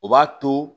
O b'a to